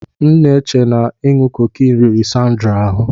M n'eche na inu cocaine riri Sandra ahụ.